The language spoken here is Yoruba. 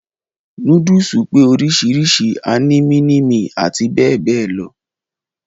Núdùsù pé oríṣiríṣi, a ní mínímì àti bẹ́ẹ̀ bẹ́ẹ̀ lọ.